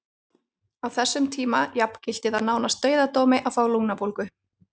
Á þessum tíma jafngilti það nánast dauðadómi að fá lungnabólgu.